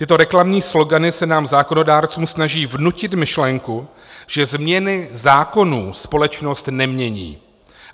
Tyto reklamní slogany se nám zákonodárcům snaží vnutit myšlenku, že změny zákonů společnost nemění.